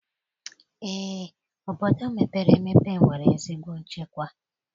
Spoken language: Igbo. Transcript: Eé, obodo mepere emepe nwere ezigbo nchekwa